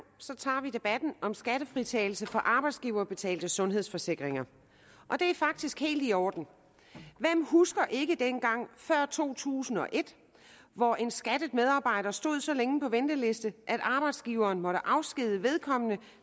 tager vi debatten om skattefritagelse for arbejdsgiverbetalte sundhedsforsikringer og det er faktisk helt i orden hvem husker ikke dengang før to tusind og et hvor en skattet medarbejder stod så længe på venteliste at arbejdsgiveren måtte afskedige vedkommende